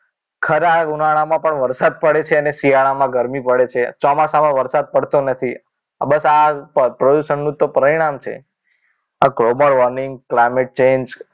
ખરા ઉનાળામાં પણ વરસાદ પડે છે અને શિયાળામાં ગરમી પડે છે ચોમાસામાં વરસાદ પડતો નથી બસ આજ પ્રદૂષણનું તો પરિણામ છે global warming climate change